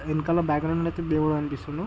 వెనకాల background అయితే దేవుడనిపిస్తున్న--